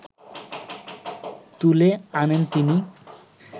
তুলে আনেন তিনি